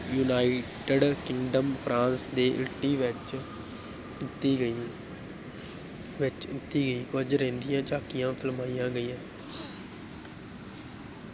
United kingdom France ਦੇ Italy ਵਿਚ ਕੀਤੀ ਗਈ ਵਿੱਚ ਕੀਤੀ ਗਈ, ਕੁੱਝ ਰਹਿੰਦੀਆਂ ਝਾਕੀਆਂ ਫਿਲਮਾਈਆਂ ਗਈਆਂ।